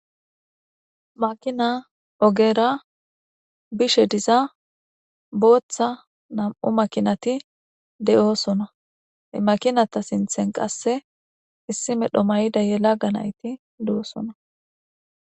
Makina ogeera bishe diza booththa nam'u makinati de'oosona makinata sinthen qasse issi medho mayida yelaga nayti de'osona.